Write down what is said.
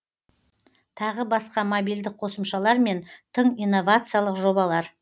тағы басқа мобильді қосымшалар мен тың инновациялық жобалар